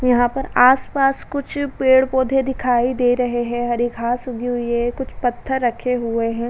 यहां पर आस-पास कुछ पेड़ पौधे दिखाई दे रहे हैं। हरी घास उगी हुई है कुछ पत्थर रखे हुए हैं।